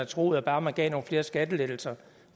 troet at bare man gav nogle flere skattelettelser